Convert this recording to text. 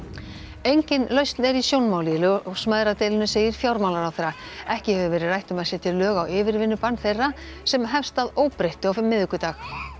engin lausn er í sjónmáli í ljósmæðradeilunni segir fjármálaráðherra ekki hefur verið rætt um að setja lög á yfirvinnubann þeirra sem hefst að óbreyttu á miðvikudag